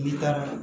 N'i taara